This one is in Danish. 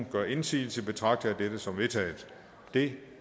gør indsigelse betragter jeg dette som vedtaget det